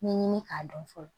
Ɲɛɲini k'a dɔn fɔlɔ